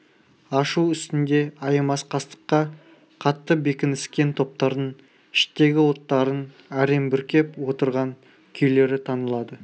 ашу үстінде аямас қастыққа қатты бекініскен топтардың іштегі оттарын әрең бүркеп отырған күйлері танылады